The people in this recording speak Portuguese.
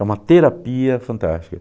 É uma terapia fantástica.